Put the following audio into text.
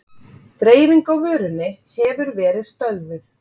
Dreifing á vörunni hefur verið stöðvuð